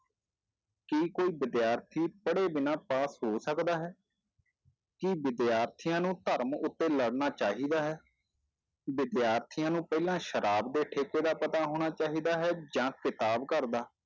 ਕੀ ਕੋਈ ਵਿਦਿਆਰਥੀ ਪੜ੍ਹੇ ਬਿਨਾਂ ਪਾਸ ਹੋ ਸਕਦਾ ਹੈ ਕੀ ਵਿਦਿਆਰਥੀਆਂ ਨੂੰ ਧਰਮ ਉੱਤੇ ਲੜਨਾ ਚਾਹੀਦਾ ਹੈ, ਵਿਦਿਆਰਥੀਆਂ ਨੂੰ ਪਹਿਲਾਂ ਸ਼ਰਾਬ ਦੇ ਠੇਕੇ ਦਾ ਪਤਾ ਹੋਣਾ ਚਾਹੀਦਾ ਹੈ ਜਾਂ ਕਿਤਾਬ ਘਰ ਦਾ।